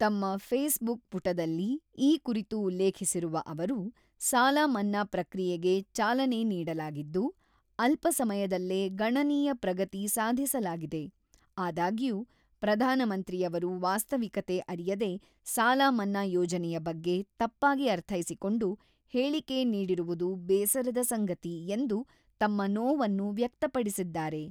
ತಮ್ಮ Facebook ಪುಟದಲ್ಲಿ ಈ ಕುರಿತು ಉಲ್ಲೇಖಿಸಿರುವ ಅವರು, "ಸಾಲ ಮನ್ನಾ ಪ್ರಕ್ರಿಯೆಗೆ ಚಾಲನೆ ನೀಡಲಾಗಿದ್ದು, ಅಲ್ಪ ಸಮಯದಲ್ಲೇ ಗಣನೀಯ ಪ್ರಗತಿ ಸಾಧಿಸಲಾಗಿದೆ ; ಆದಾಗ್ಯೂ ಪ್ರಧಾನಮಂತ್ರಿಯವರು ವಾಸ್ತವಿಕತೆ ಅರಿಯದೆ, ಸಾಲ ಮನ್ನಾ ಯೋಜನೆಯ ಬಗ್ಗೆ ತಪ್ಪಾಗಿ ಅರ್ಥೈಸಿಕೊಂಡು, ಹೇಳಿಕೆ ನೀಡಿರುವುದು ಬೇಸರದ ಸಂಗತಿ" ಎಂದು ತಮ್ಮ ನೋವನ್ನು ವ್ಯಕ್ತಪಡಿಸಿದ್ದಾರೆ.